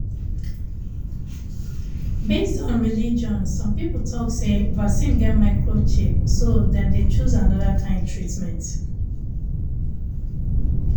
based on religion some people talk say vaccine get microchip so dem dey choose another kind treatment